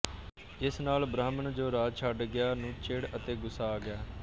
ਇਸ ਨਾਲ ਬ੍ਰਾਹਮਣ ਜੋ ਰਾਜ ਛੱਡ ਗਿਆ ਨੂੰ ਚਿੜ ਅਤੇ ਗੁੱਸਾ ਆ ਗਿਆ